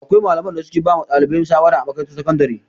Akwai malaman da su ke ba wa ɗalibai shawara a makarantar sakandire